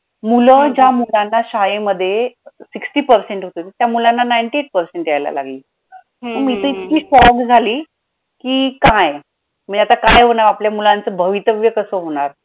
मूलं ज्या मुलांना शाळेमध्ये sixty percent होते त्या मुलांना ninety-eight percent यायला लागले मी तर इतकी shock झाली कि काय मग काय होणारआता आपल्या मुलांच भवितव्य कसं होणार